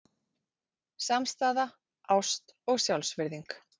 Samstaða, ást og sjálfsvirðing.